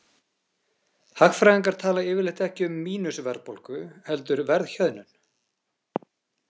Hagfræðingar tala yfirleitt ekki um „mínus“ -verðbólgu heldur verðhjöðnun.